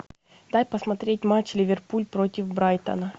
дай посмотреть матч ливерпуль против брайтона